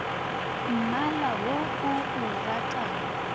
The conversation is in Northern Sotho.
mmala wo o o ratago